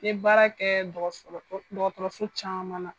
N bɛ baara kɛ dɔgɔtɔrɔso caman na.